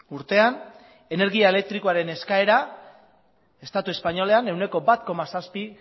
urtean energia elektrikoaren eskaera estatu espainolean ehuneko bat koma zazpi